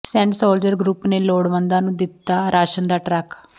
Saint Soldier Group ਨੇ ਲੋੜਵੰਦਾਂ ਨੂੰ ਦਿੱਤਾ ਰਾਸ਼ਨ ਦਾ ਟਰੱਕ